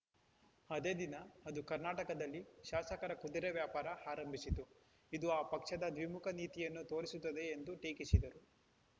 ಅದೇ ದಿನ ಅದು ಕರ್ನಾಟಕದಲ್ಲಿ ಶಾಸಕರ ಕುದುರೆ ವ್ಯಾಪಾರ ಆರಂಭಿಸಿತು ಇದು ಆ ಪಕ್ಷದ ದ್ವಿಮುಖ ನೀತಿಯನ್ನು ತೋರಿಸುತ್ತದೆ ಎಂದು ಟೀಕಿಸಿದರು